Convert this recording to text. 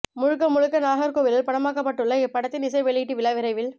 முழுக்க முழுக்க நாகர்கோவிலில் படமாக்கப்பட்டுள்ள இப்படத்தின் இசை வெளியீட்டு விழா விரைவில்